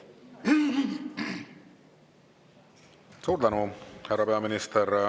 Suur tänu, härra peaminister!